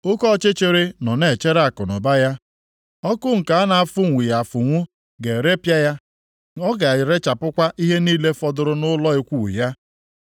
Oke ọchịchịrị nọ na-echere akụnụba ya, ọkụ nke a na-afụnwughị afụnwu ga-erepịa ya ọ ga-erechapụkwa ihe niile fọdụrụ nʼụlọ ikwu ya.